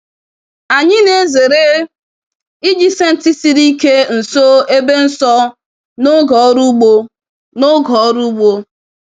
Anyị na-ezere iji senti siri ike nso ebe nsọ n'oge ọrụ ugbo. n'oge ọrụ ugbo.